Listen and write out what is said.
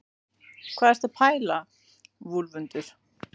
hvað ertu að pæla vúlundur